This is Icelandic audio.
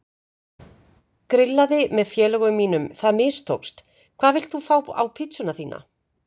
Grillaði með félögum mínum, það mistókst Hvað vilt þú fá á pizzuna þína?